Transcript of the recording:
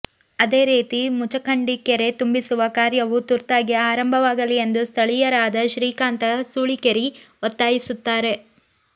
ಅದೇ ರೀತಿ ಮುಚಖಂಡಿ ಕೆರೆ ತುಂಬಿಸುವ ಕಾರ್ಯವೂ ತುರ್ತಾಗಿ ಆರಂಭವಾಗಲಿ ಎಂದು ಸ್ಥಳೀಯರಾದ ಶ್ರೀಕಾಂತ ಸೂಳಿಕೇರಿ ಒತ್ತಾಯಿಸುತ್ತಾರೆ